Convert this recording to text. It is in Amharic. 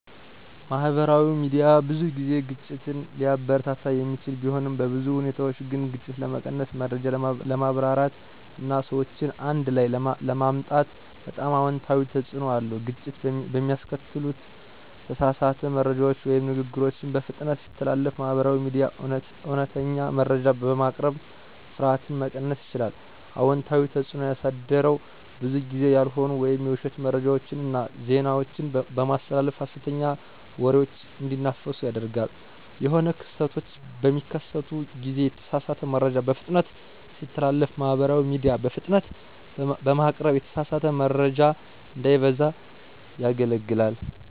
ማህበራዊ ሚዲያ ብዙ ጊዜ ግጭትን ሊያበረታታ የሚችል ቢሆንም፣ በብዙ ሁኔታዎች ግን ግጭት ለመቀነስ፣ መረጃ ለማብራራት እና ሰዎችን አንድ ላይ ለማምጣት በጣም አዎንታዊ ተጽዕኖ አለዉ። ግጭት በሚያስከትሉ ተሳሳተ መረጃዎች ወይም ንግግሮችን በፍጥነት ሲተላለፉ ማህበራዊ ሚዲያ እውነተኛ መረጃ በማቅረብ ፍርሃትን መቀነስ ችሏል። አዎንታዊ ተጽዕኖ ያሳደረዉ ብዙ ጊዜ ያልሆኑ ወይም የዉሸት መረጃዎችን እና ዜናዎችን በማስተላለፍ ሀሰተኛ ወሬዎች እንዲናፈሱ ያደርጋል። የሆነ ክስተቶች በሚከሰቱ ጊዜ የተሳሳተ መረጃ በፍጥነት ሲተላለፍ ማህበራዊ ሚዲያ በፍጥነት በማቅረብ የተሳሳተ መረጃ እንዳይበዛ ያገለግላል።